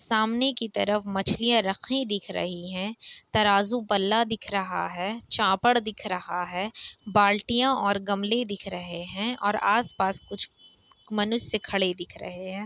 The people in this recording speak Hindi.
सामने की तरफ मछलियां रखी हुई दिख रही है तराजू-पल्ला दिख रहा है चापड़ दिख रहा है बाल्टियाँ और गमले दिख रहे हैं। और आस-पास कुछ मनुष्य खड़े दिख रहे हैं।